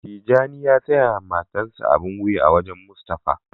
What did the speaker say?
Tijani ya siya ma matan sa abin wuya a wajen Mustapha.